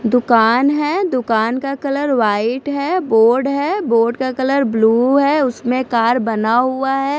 दूकान है दूकान का कलर वाइट है बोर्ड है बोर्ड का कलर ब्लू है उसमे कार बना हुआ है।